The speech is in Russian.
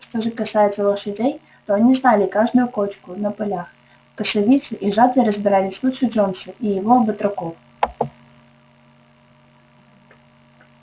что же касается лошадей то они знали каждую кочку на полях в косовице и жатве разбирались лучше джонса и его батраков